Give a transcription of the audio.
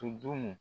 Tun dun